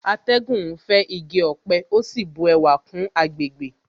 Atẹ́gùn ń fẹ́ igi ọ̀pẹ ó sì bu ẹwà kún àgbègbè